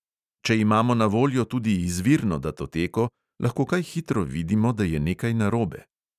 Če imamo na voljo tudi izvirno datoteko, lahko kaj hitro vidimo, da je nekaj narobe.